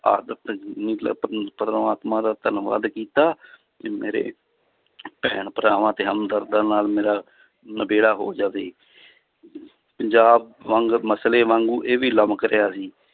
ਪ੍ਰਮਾਤਮਾ ਦਾ ਧੰਨਵਾਦ ਕੀਤਾ ਤੇ ਮੇਰੇ ਭੈਣ ਭਰਾਵਾਂ ਤੇ ਹਮਦਰਦਾਂ ਨਾਲ ਮੇਰਾ ਨਿਬੇੜਾ ਹੋ ਜਾਵੇ ਪੰਜਾਬ ਵਾਂਗ ਮਸਲੇ ਵਾਂਗੂ ਇਹ ਵੀ ਲਮਕ ਰਿਹਾ ਸੀ